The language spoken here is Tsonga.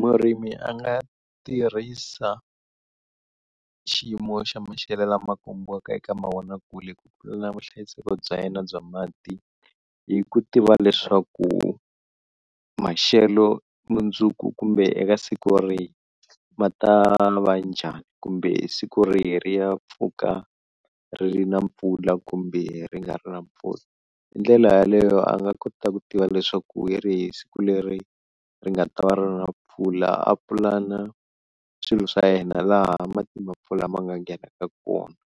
Murimi a nga tirhisa xiyimo xa maxelo lama kombiwaka eka mavonakule ku pulana vuhlayiseki bya yena bya mati hi ku tiva leswaku maxelo mundzuku kumbe eka siku rihi ma ta va njhani, kumbe siku reri ri ya pfuka ri ri ri na mpfula kumbe ri nga ri na mpfula, hi ndlela yaleyo a nga kota ku tiva leswaku hi rihi siku leri ri nga ta va ri ri ri na mpfula a pulana swilo swa yena laha mati ma mpfula ma nga nghenaka kona,